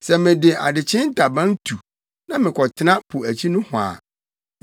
Sɛ mede adekyee ntaban tu na mekɔtena po akyi nohɔ a,